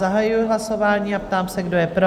Zahajuji hlasování a táži se, kdo je pro?